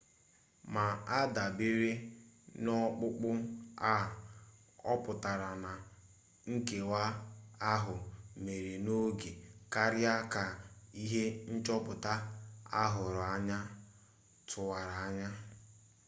ma adabere n'ọkpụkpụ a ọputara na nkewa ahụ mere n'oge karịa ka ihe nchọpụta ahụrụ anya tụwara anya